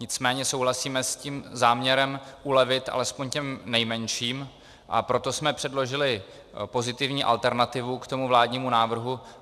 Nicméně souhlasíme s tím záměrem ulevit alespoň těm nejmenším, a proto jsme předložili pozitivní alternativu k tomu vládnímu návrhu.